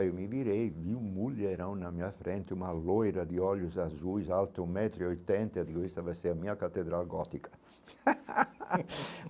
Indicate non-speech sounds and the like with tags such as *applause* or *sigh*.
Aí eu me virei e vi um mulherão na minha frente, uma loira de olhos azuis, alta, um metro e oitenta, e eu digo, essa vai ser a minha catedral gótica. *laughs*